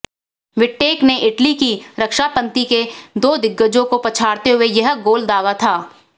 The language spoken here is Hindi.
विट्टेक ने इटली की रक्षापंक्ति के दो दिग्गजों को पछाड़ते हुए यह गोल दागा था